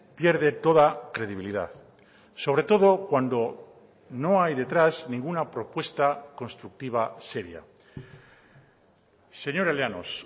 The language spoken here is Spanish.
pierde toda credibilidad sobre todo cuando no hay detrás ninguna propuesta constructiva seria señora llanos